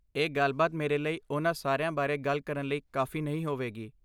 ਇਹ ਗੱਲਬਾਤ ਮੇਰੇ ਲਈ ਉਨ੍ਹਾਂ ਸਾਰਿਆਂ ਬਾਰੇ ਗੱਲ ਕਰਨ ਲਈ ਕਾਫ਼ੀ ਨਹੀਂ ਹੋਵੇਗੀ